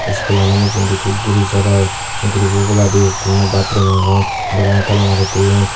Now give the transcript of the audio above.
iskulano mujungedi ikko guru sorer gurubo oboladi tinno batrum agon dorani tala mari toyon.